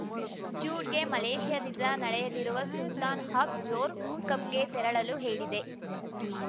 ಜೂಡ್‌ಗೆ ಮಲೇಷ್ಯಾದಿದ್ದ ನಡೆಯಲಿರುವ Sultan of Johor ಕಪ್‌ಗೆ ತೆರಳಲು ಹೇಳಿದೆ